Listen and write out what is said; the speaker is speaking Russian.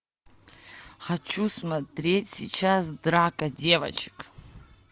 хочу смотреть сейчас драка девочек